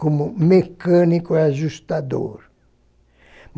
Como mecânico ajustador.